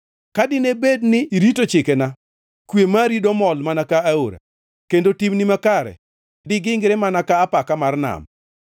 Ka dine bed ni irito chikena, kwe mari domol mana ka aora, kendo timni makare digingre mana ka apaka mar nam.